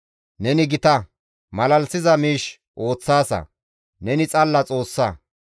Neni gita; malalisiza miish ooththaasa. Neni xalla Xoossa.